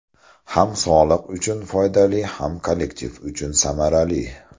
Ham sog‘liq uchun foydali, ham kollektiv uchun samarali.